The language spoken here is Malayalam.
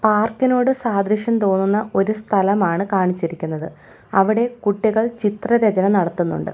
പാർക്കിനോട് സാദൃശ്യം തോന്നുന്ന ഒരു സ്ഥലമാണ് കാണിച്ചിരിക്കുന്നത് അവിടെ കുട്ടികൾ ചിത്ര രചന നടത്തുന്നുണ്ട്.